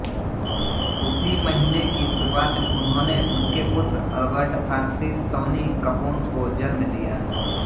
उसी महीने की शुरुआत में उन्होंने उनके पुत्र एल्बर्ट फ्रांसिस सौनी कपोन को जन्म दिया